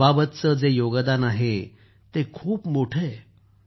अबाबतचं जे योगदान आहे ते खूप मोठं आहे